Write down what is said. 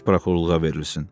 İş prokurorluğa verilsin.